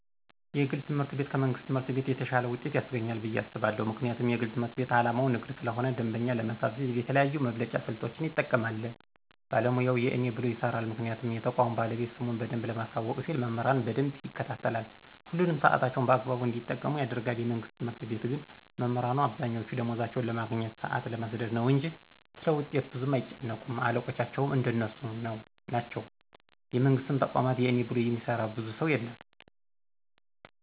የግል ትምህርት ቤት ከመንግስት ትምህርት ቤት የተሻለ ውጤት ያስገኛል ብየ አስባለሁ። ምክንያቱም የግል ትምህርት ቤት አላማው ንግድ ስለሆነ ደንበኛ ለመሳብ ሲል የተለያዩ የመብለጫ ስልቶችን ይጠቀማል ባለሙያውም የእኔ ብሎ ይሰራል ምክንያቱም የተቋሙ ባለቤት ስሙን በደንብ ለማሳወቅ ሲል መምህራኑን በደንብ ይከታተላል፣ ሁሉንም ሳዕታቸውን በአግባቡ እንዲጠቀሙ ያደርጋል፤ የመንግስት ትምህርት ቤት ግን መምህራኑ አብዛኛወቹ ደማወዝ ለማግኘት፣ ሳአት ለመስደድ ነው እንጅ ስለውጤት ብዙም አይጨነቁም አለቆቻቸውም እንደነሱ ናቸው የመንግስትን ተቋማት የእኔ ብሎ የሚሰራ ብዙ ሰው የለም።